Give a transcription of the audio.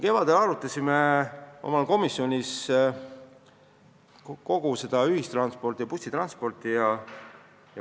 Kevadel me arutasime oma komisjonis kogu ühistransporti, sh bussitransporti.